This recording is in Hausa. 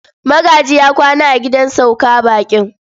Magaji ya kwana a gidan sauka baƙin.